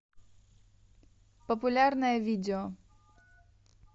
популярное видео